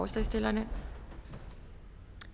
det synes vi